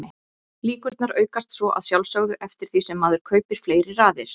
Líkurnar aukast svo að sjálfsögðu eftir því sem maður kaupir fleiri raðir.